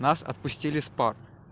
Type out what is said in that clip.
нас отпустили с пар